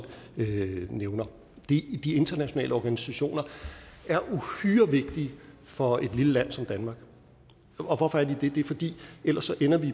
nævner de internationale organisationer er uhyre vigtige for et lille land som danmark og hvorfor er de det det er de fordi vi ellers ender